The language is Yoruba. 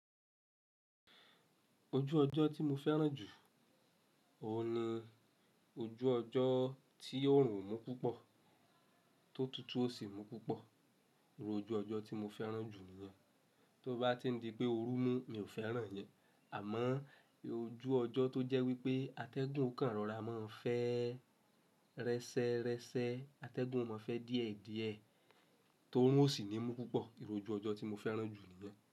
Ojú ọjọ́ tí mo fẹ́ràn jù, òun ni ojú ọjọ́ tí òórùn o mú púpọ̀, tó tutù ó sì mú púpọ̀, ìròjú ọjọ́ tí mo fẹ́ràn jù nìyẹn. Tí ó bá ti ń di pé òórùn mú, mi ò fẹ́ràn yẹn. Àmọ́ irú ojú ọjọ́ tó jẹ́ wípé atẹ́gùn kan rọra máa ń fẹ́ rẹ́sẹ́rẹ́sẹ́, atẹ́gùn ó mọ́ọ fẹ́ díẹ̀díẹ̀, tí oòrùn ó sì ní mú púpọ̀, ni irú ojú ọjọ́ tí mo fẹ́ràn jù nìyẹn.